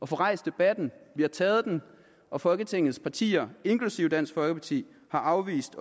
få rejst debatten vi har taget den og folketingets partier inklusive dansk folkeparti har afvist